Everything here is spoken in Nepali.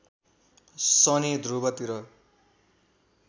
शनि ध्रुव तिर